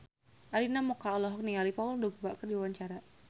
Arina Mocca olohok ningali Paul Dogba keur diwawancara